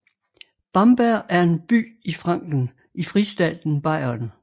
Bamberg er en by i Franken i fristaten Bayern